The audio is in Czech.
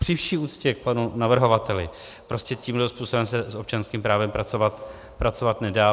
Při vší úctě k panu navrhovateli, prostě tímto způsobem se s občanským právem pracovat nedá.